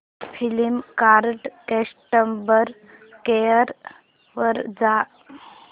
Flipkart customer care वर जा